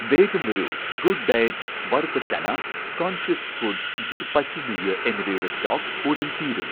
വേഗം വരൂ, 'good diet' വറുത്ത ചന , 'കോൺഷ്യസ് ഫുഡ്' ഗിർ പശു നെയ്യ് എന്നിവയുടെ സ്റ്റോക് ഉടൻ തീരും